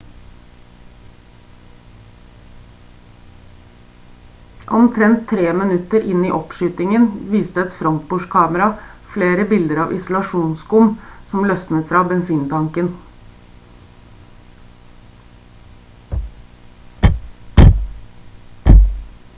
omtrent 3 minutter inn i oppskytingen viste et frontbordkamera flere biter av isolasjonsskum som løsnet fra bensintanken